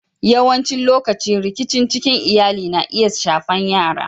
Yawancin lokatai rikici cikin Iyalli na iya shafan yara.